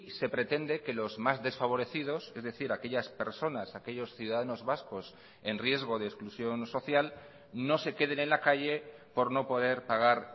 se pretende que los más desfavorecidos es decir aquellas personas aquellos ciudadanos vascos en riesgo de exclusión social no se queden en la calle por no poder pagar